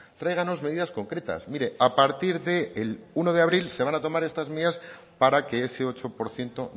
tráiganos medidas concretas mire a partir del uno de abril se van a tomar estas medidas para que ese ocho por ciento